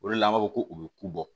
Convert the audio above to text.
O de la an b'a fɔ ko u bɛ ku bɔ